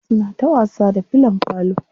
Suna ta wasa da fillon falo.